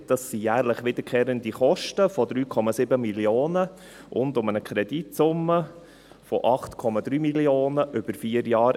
Das sind jährlich wiederkehrende Kosten von 3,7 Mio. Franken und eine Kreditsumme von 8,3 Mio. Franken, einmalig über vier Jahre.